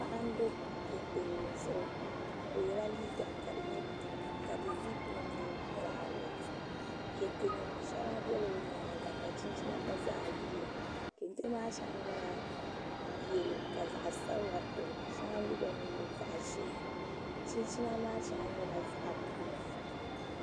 Paɣa n do kɛntɛ nim zuɣu o yɛla liiga ka di nyɛ pink ka di zip nim nyɛ vaaulɛt kɛntɛ nim shɛŋa biɛla o nyaanga ka chinchina gba zaa yiliya kɛntɛ maa shɛŋa nyɛla yɛlo ka zaɣ sabila to shɛŋa mii nyɛ zaɣ ʒiɛ chinchina maa shɛŋa nyɛla buluu